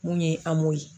Mun ye an m'o ye